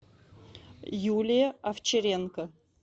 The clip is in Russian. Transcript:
юлия овчаренко